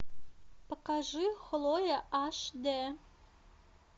покажи хлоя аш д